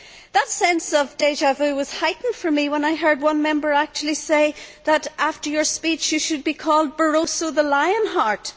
That sense of déjà vu was heightened for me when I heard one Member actually say that, after your speech, you should be called Barroso the Lionheart'.